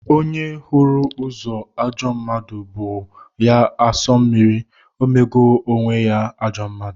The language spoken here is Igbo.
Onye hụrụ ozu ajọ mmadụ bụọ ya asọ mmiri, emego onwe ya ajọ mmadụ.